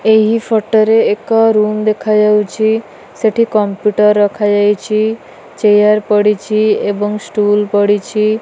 ଏହି ଫଟ ରେ ଏକ ରୁମ୍ ଦେଖାଯାଉଚି ସେଠି କମ୍ପୁଟର୍ ରଖାଯାଇଚି ଚେୟାର୍ ପଡ଼ିଚି ଏବଂ ଷ୍ଟୁଲ୍ ପଡ଼ିଛି।